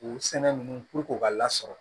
U sɛnɛ ninnu puruke k'a lasɔrɔ